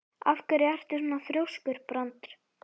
Af hverju ertu svona þrjóskur, Brandr?